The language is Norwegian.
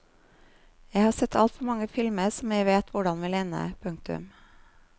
Jeg har sett altfor mange filmer som jeg vet hvordan vil ende. punktum